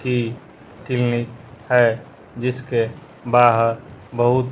की क्लीनिक है जिसके बाहर बहुत--